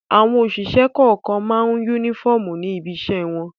Àwọn òṣìṣẹ́ kọ̀ọ̀kan máa ń únífọ́ọ́mù ní ibiṣẹ́ wọn.